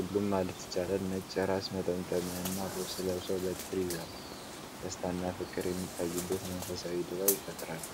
ሁሉም ማለት ይቻላል ነጭ የራስ መጠምጠሚያና ልብስ ለብሰው በትር ይዘዋል፤ ደስታና ፍቅር የሚታይበት መንፈሳዊ ድባብ ይፈጥራሉ።